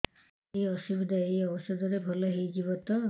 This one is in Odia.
ଏଇ ଅସୁବିଧା ଏଇ ଔଷଧ ରେ ଭଲ ହେଇଯିବ ତ